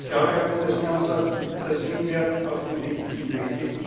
Und ich glaube, Herr Bundeskanzler, da sind wir auf dem richtigen